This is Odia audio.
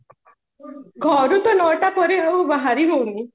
ଘରୁ ତ ନଅଟା କୋଡିଏ ବେଳୁ ବାହାରି ହଉନି